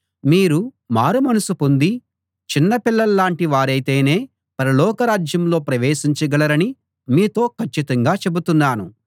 మీరు మారుమనస్సు పొంది చిన్నపిల్లల్లాంటి వారైతేనే పరలోకరాజ్యంలో ప్రవేశించగలరని మీతో కచ్చితంగా చెబుతున్నాను